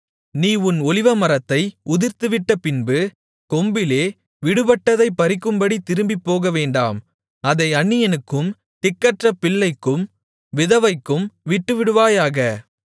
நீ உன் ஒலிவமரத்தை உதிர்த்துவிட்ட பின்பு கொம்பிலே விடுபட்டதைப் பறிக்கும்படி திரும்பிப் போகவேண்டாம் அதை அந்நியனுக்கும் திக்கற்ற பிள்ளைக்கும் விதவைக்கும் விட்டுவிடுவாயாக